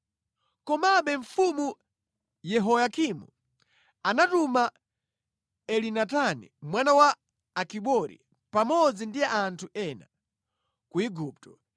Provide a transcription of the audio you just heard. Komabe Mfumu Yehoyakimu anatuma Elinatani mwana wa Akibori pamodzi ndi anthu ena, ku Igupto.